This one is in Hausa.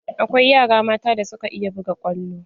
Akwai yara mata da suka iya buga kwallo.